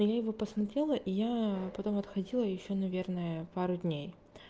я его посмотрела и я потом отходила ещё наверное пару дней